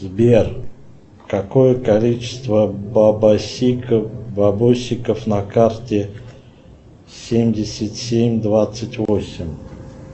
сбер какое количество бабосиков на карте семьдесят семь двадцать восемь